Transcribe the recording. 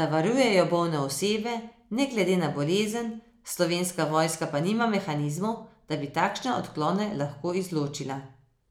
da varujejo bolne osebe, ne glede na bolezen, Slovenska vojska pa nima mehanizmov, da bi takšne odklone lahko izločila.